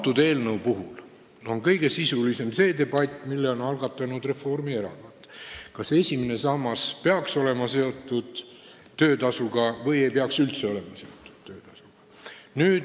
Selle eelnõu puhul on kõige sisulisem olnud debatt, mille on algatanud Reformierakond: kas esimene sammas peaks olema seotud töötasuga või ei peaks sellega üldse seotud olema?